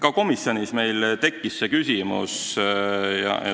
Ka komisjonis tekkis see küsimus.